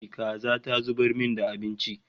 Kaza ta zubar min da abinci